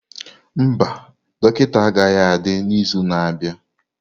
Mba, dọkịta agaghị adị n'izu na-abịa.